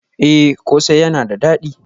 Eh kose yana da dadi